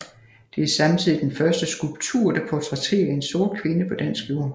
Det er samtidig den første skulptur der portrætterer en sort kvinde på dansk jord